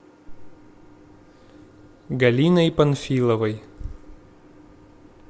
галиной панфиловой